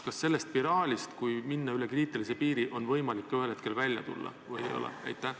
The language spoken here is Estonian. Kas sellest spiraalist, kui minna üle kriitilise piiri, on võimalik ühel hetkel välja ka tulla või ei ole?